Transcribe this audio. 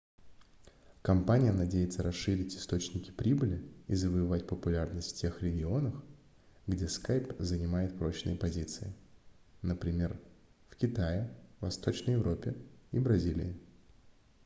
компания надеется расширить источники прибыли и завоевать популярность в тех регионах где skype занимает прочные позиции например в китае восточной европе и бразилии